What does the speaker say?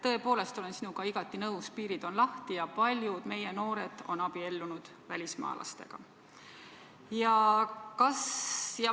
Tõepoolest, olen sinuga igati nõus, piirid on lahti ja paljud meie noored on abiellunud välismaalastega.